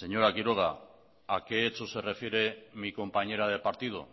señora quiroga a qué hechos se refiere mi compañera de partido